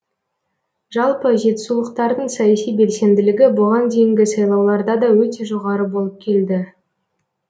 жалпы жетісулықтардың саяси белсенділігі бұған дейінгі сайлауларда да өте жоғары болып келді